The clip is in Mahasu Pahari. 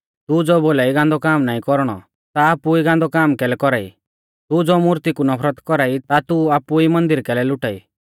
तू ज़ो बोलाई गांदौ काम नाईं कौरणौ ता आपु ई गांदौ काम कैलै कौरा ई तू ज़ो मूर्ती कु नफरत कौरा ई ता तू आपु ई मन्दिर कैलै लुटा ई